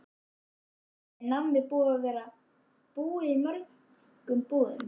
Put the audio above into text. Þórhildur: Er nammið búið að vera búið í mörgum búðum?